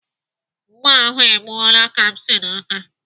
Mma ahụ e gbuola Kamsi n'aka.